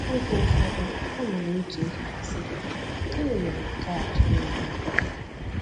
Oge ụfọdụ, a na m eche echiche sị: ‘Gịnị mere nke a ji na-eme m?